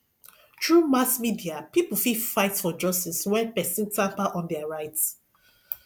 through mass media pipo fit fight for justice when persin tamper on their rights